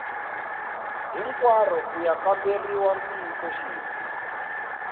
hinkwaro ku ya kamberiwa ntiyisoxidzi